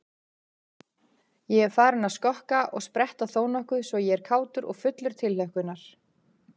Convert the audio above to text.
Ég er farinn að skokka og spretta þónokkuð svo ég er kátur og fullur tilhlökkunar.